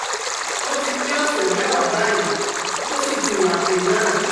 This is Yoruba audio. ó ti pé ọ̀sẹ̀ mẹ́wàá báyìí, ó sì ti wa pre nan